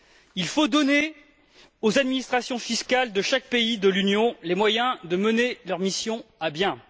Il faut donner aux administrations fiscales de chaque pays de l'Union les moyens de mener leurs missions à bien.